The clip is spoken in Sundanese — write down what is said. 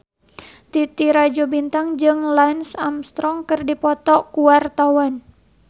Titi Rajo Bintang jeung Lance Armstrong keur dipoto ku wartawan